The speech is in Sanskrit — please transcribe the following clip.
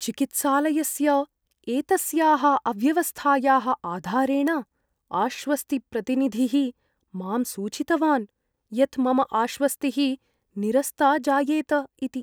चिकित्सालयस्य एतस्याः अव्यवस्थायाः आधारेण आश्वस्तिप्रतिनिधिः मां सूचितवान् यत् मम आश्वस्तिः निरस्ता जायेत इति।